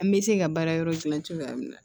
An bɛ se ka baara yɔrɔ gilan cogoya min na